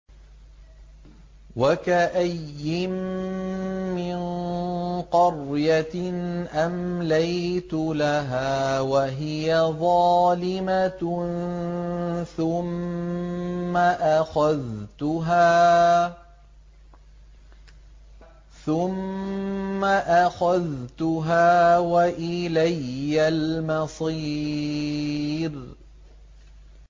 وَكَأَيِّن مِّن قَرْيَةٍ أَمْلَيْتُ لَهَا وَهِيَ ظَالِمَةٌ ثُمَّ أَخَذْتُهَا وَإِلَيَّ الْمَصِيرُ